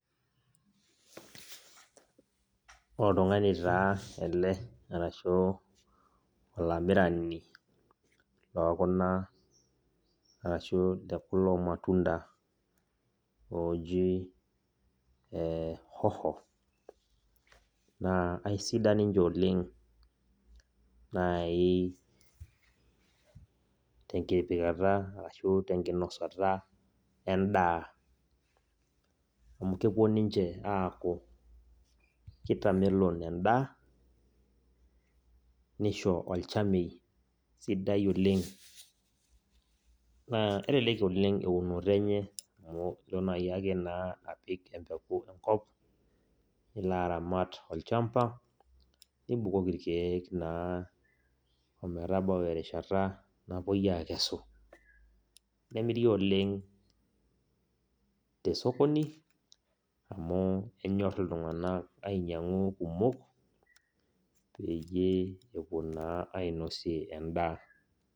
Oltung'ani taa ele arashu olamirani lokuna arashu lekulo matunda loji hoho. Naa aisidan ninche oleng nai tenkipikata ashu tenkinosata endaa, amu kepuo ninche aaku kitamelon endaa, nisho olchamei sidai oleng. Naa kelelek oleng eunoto enye amu ilo nai ake naa apik empeku enkop, nilo aramat olchamba, nibukoki irkeek naa ometabau erishata napoi akesu. Nemiri oleng tesokoni, amu enyor iltung'anak ainyang'u kumok, peyie epuo naa ainosie endaa.